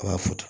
A b'a fo